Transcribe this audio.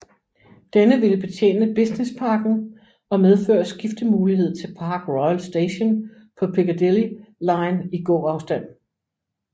Denne ville betjene businessparken og medføre skiftemulighed til Park Royal Station på Piccadilly line i gåafstand